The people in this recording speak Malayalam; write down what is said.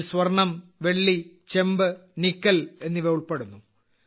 ഇതിൽ സ്വർണ്ണം വെള്ളി ചെമ്പ് നിക്കൽ എന്നിവ ഉൾപ്പെടുന്നു